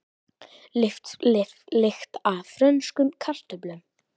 Lykt af frönskum kartöflum